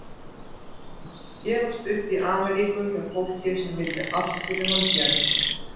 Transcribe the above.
Gefast upp í Ameríku hjá fólki sem vildi allt fyrir hann gera.